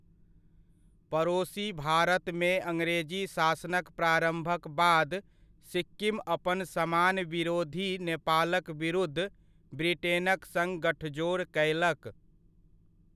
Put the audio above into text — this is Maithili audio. पड़ोसी भारतमे अंग्रेजी शासनक प्रारम्भक बाद, सिक्किम अपन समान विरोधी नेपालक विरुद्ध ब्रिटेनक सङ्ग गठजोड़ कयलक।